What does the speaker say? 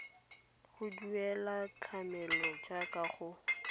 go duela tlamelo jaaka go